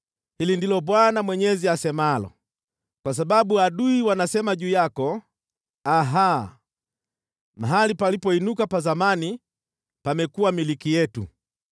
Hili ndilo Bwana Mwenyezi asemalo: Kwa sababu adui wanasema juu yako, “Aha! Mahali palipoinuka pa zamani pamekuwa milki yetu.” ’